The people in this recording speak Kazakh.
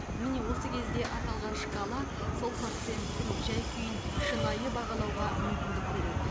міне осы кезде аталған шкала сол пациенттің жай күйін шынайы бағалауға мүмкіндік береді